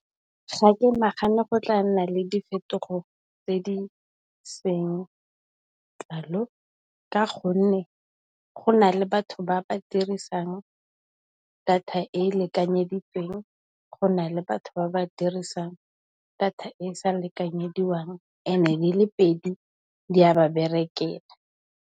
Ga ke nagane go tla nna le diphetogo tse di kalo ka gonne, go na le batho ba ba dirisang data e e lekanyeditsweng, go na le batho ba ba dirisang data e e sa lekanyediwang and di le pedi di a ba berekela.